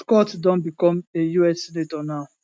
scott don become a us senator now